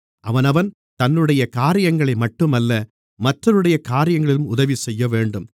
அவனவன் தன்னுடைய காரியங்களை மட்டுமல்ல மற்றவர்களுடைய காரியங்களிலும் உதவிசெய்யவேண்டும்